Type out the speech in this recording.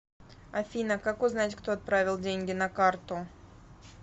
афина как узнать кто отправил деньги на карту